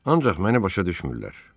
Ancaq məni başa düşmürlər.